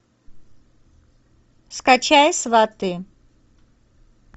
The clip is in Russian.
скачай сваты